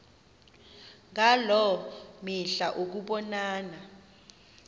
ngaloo mihla ukubonana